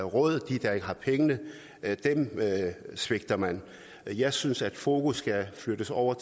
råd de der ikke har pengene svigter man jeg synes at fokus skal flyttes over